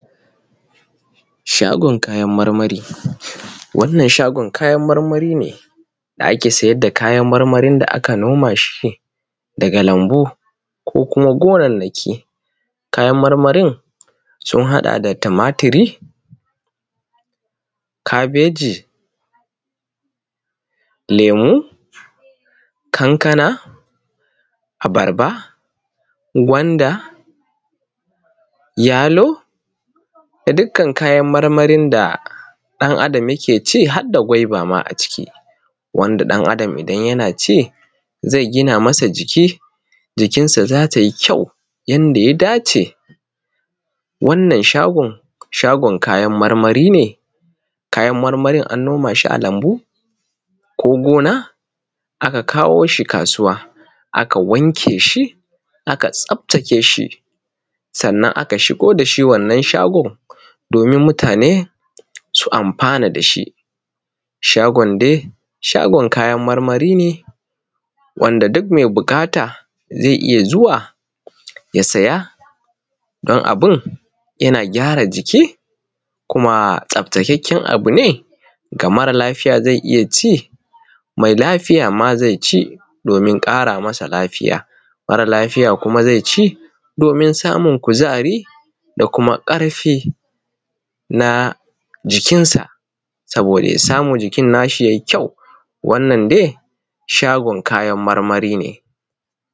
Shagon kayan marmari. Wannan shagon kayan marmari ne da ake siyar da kayan marmarin da aka noma shi daga lambu ko kuma gonan naki. Kayan marmarin sun haɗa da tumatiri, kabeji, lemo, kankana, abarba, gwanda, yalo da dukkan kayan marmarin da ɗan Adam yake ci har da gwaiba ma a ciki, wanda ɗan Adam idan yana ci zai gina masa jiki, jikinsa za tai kyau yanda ya dace. Wannan shagon, shogon kayan marmari ne, kayan marmari an noma shi lambu, ko gona aka kawo shi kasuwa, aka wanke shi, aka tsaftace shi sannan aka shigo dashi wannan shagon domin mutane su amfana dashi. Shagon dai shagon kayan marmari ne wanda duk mai buƙata zai iya zuwa ya saya don abun yana gyara jiki kuma tsaftakeken abu ne, ga mare lafiya zai iya ci, mai lafiya ma zai ci domin ƙara masa lafiya, mara lafiya kuma zai ci domin samun kuzari da kuma ƙarfi na jikinsa saboda ya samu jikin nasa ye kyau. Wanna dai shagon kayan marmari ne.